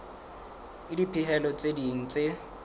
le dipehelo tse ding tse